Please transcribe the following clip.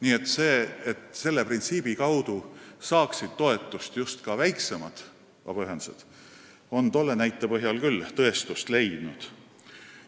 Aga see, et selle printsiibi kaudu saaksid toetust ka väiksemad vabaühendused, on tolle näite põhjal küll tõestust leidnud.